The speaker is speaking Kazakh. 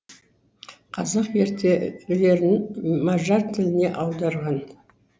қазақ ертегілерін мажар тіліне аударған